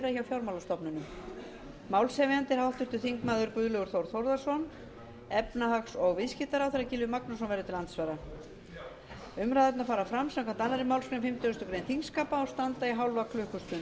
fjármálastofnunum málshefjandi er háttvirtur þingmaður guðlaugur þór þórðarson efnahags og viðskiptaráðherra gylfi magnússon verður til andsvara umræðurnar fara fram samkvæmt annarri málsgrein fimmtugustu grein þingskapa og standa í hálfa klukkustund